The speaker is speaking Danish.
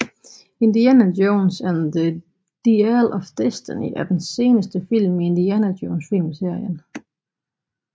Indiana Jones and the Dial of Destiny er den seneste film i Indiana Jones filmserien